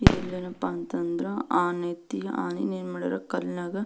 ಇದರಲ್ಲೇನಪ್ಪ ಅಂತಂದ್ರೆ ಆನೆ ಐತಿ ಆನೆನ್ ಏನ್ ಮಾಡ್ಯಾರ ಕಲ್ಲಿನಾಗೆ.